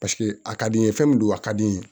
Paseke a ka di n ye fɛn min don a ka di n ye